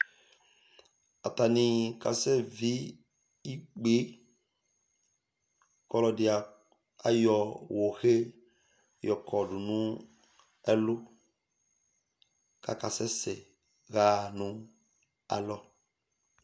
Atani kasɛ vi ikpe kʋ ɔlɔdi ayɔ wohe yɔ kɔdu nʋ ɛlu kʋ akasɛsɛ ayaha nʋ alɔ